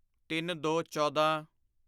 ਤਿੰਨਦੋਚੌਦਾਂ